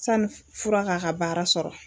Sani fura k'a ka baara sɔrɔ